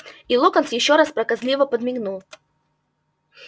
и локонс ещё раз проказливо подмигнул